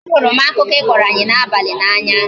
A hụrụ m akụkọ I kọrọ anyi n'abalị n'anya